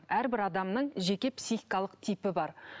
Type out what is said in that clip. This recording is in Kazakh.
әрбір адамның жеке психикалық типі бар